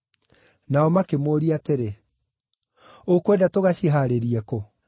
Nao makĩmũũria atĩrĩ, “Ũkwenda tũgacihaarĩrie kũ?”